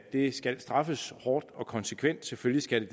det skal straffes hårdt og konsekvent selvfølgelig skal